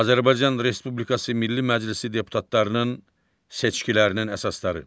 Azərbaycan Respublikası Milli Məclisi deputatlarının seçkilərinin əsasları.